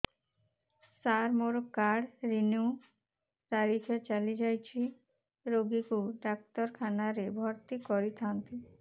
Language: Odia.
ସାର ମୋର କାର୍ଡ ରିନିଉ ତାରିଖ ଚାଲି ଯାଇଛି ରୋଗୀକୁ ଡାକ୍ତରଖାନା ରେ ଭର୍ତି କରିଥାନ୍ତି